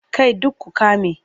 Kai duk ku ƙame!